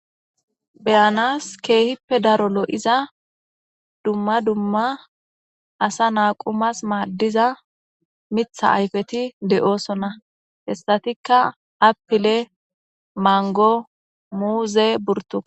Be'anas kehippe daaro lo'za dumma dumma asa na'a qumas madiza miththa ayfeti de'ossona hassatika appille, manggo, muuzenne burtukane.